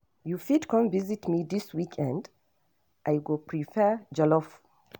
You fit come visit me this weekend? I go prepare jollof.